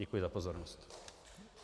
Děkuji za pozornost.